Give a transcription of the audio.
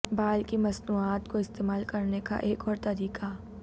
بال کی مصنوعات کو استعمال کرنے کا ایک اور طریقہ